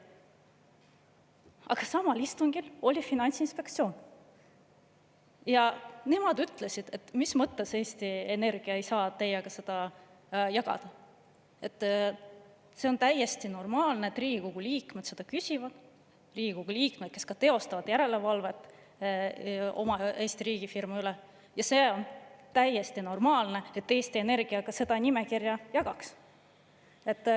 Aga samal istungil oli Finantsinspektsioon ja nemad küsisid, mis mõttes Eesti Energia ei saa meiega seda jagada, see on täiesti normaalne, et Riigikogu liikmed, kes ka teevad järelevalvet Eesti riigifirma üle, seda küsivad, ja oleks täiesti normaalne, et Eesti Energia ka seda nimekirja jagab.